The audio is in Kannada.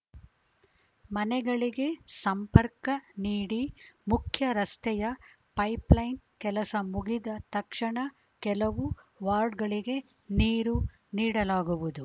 ಮನೆಗಳಿಗೆ ಸಂಪರ್ಕ ನೀಡಿ ಮುಖ್ಯರಸ್ತೆಯ ಪೈಪ್‌ಲೈನ್‌ ಕೆಲಸ ಮುಗಿದ ತಕ್ಷಣ ಕೆಲವು ವಾರ್ಡ್‌ಗಳಿಗೆ ನೀರು ನೀಡಲಾಗುವುದು